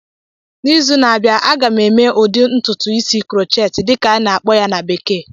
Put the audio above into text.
N'izu na-abịa, a ga m eme ụdị ntụtụ isi "crochet" dịka a na-akpọ ya na bekee